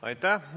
Aitäh!